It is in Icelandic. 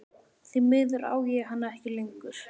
Því miður á ég hana ekki lengur.